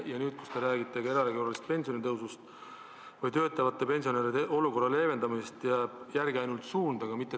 Ja nüüd, kui te räägite erakorralisest pensionitõusust ja töötavate pensionäride olukorra leevendamisest, jääb ka järele ainult suund.